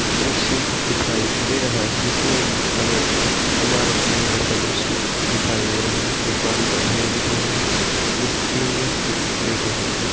दृश्य दिखाई दे रहा है जिसमे की हमे एक इमारत के अंदर का दृश्य दिखाई दे रहा है| एक बालू का ढेर दिख रहा है जिस पे तीन व्यक्ति लेटे हुवे है।